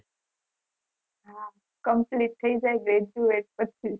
હા complete થઇ જાય graduate પછી